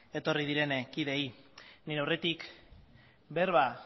etorri diren kideei nire aurretik berba